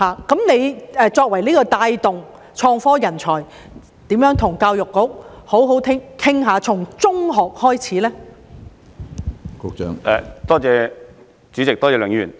局長作為帶動創科的人才，如何與教育局好好商討，從中學開始處理呢？